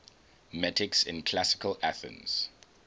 metics in classical athens